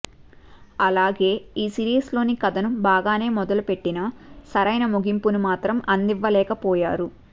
అలాగే ఈ సిరీస్ లోని కథను బాగానే మొదలు పెట్టినా సరైన ముగింపును మాత్రం అందివ్వలేకపోయారు